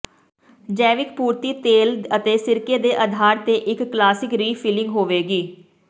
ਜੈਵਿਕ ਪੂਰਤੀ ਤੇਲ ਅਤੇ ਸਿਰਕੇ ਦੇ ਅਧਾਰ ਤੇ ਇੱਕ ਕਲਾਸਿਕ ਰੀਫਿਲਲਿੰਗ ਹੋਵੇਗੀ